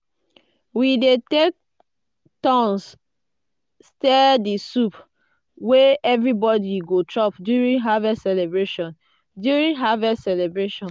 we dey take turns stir di soup wey everybody go chop during harvest celebration. during harvest celebration.